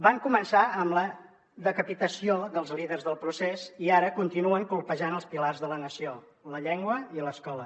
van començar amb la decapitació dels líders del procés i ara continuen colpejant els pilars de la nació la llengua i l’escola